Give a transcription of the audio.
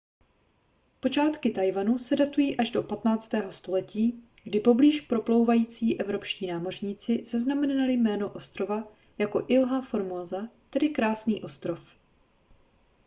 počátky taiwanu se datují až do 15. století kdy poblíž proplouvající evropští námořníci zaznamenali jméno ostrova jako ilha formosa tedy krásný ostrov